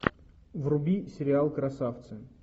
вруби сериал красавцы